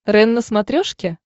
рен на смотрешке